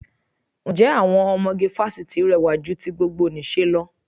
Ǹjẹ́ àwọn ọmọge fásitì rẹwà ju ti gbogbonìṣe lọ?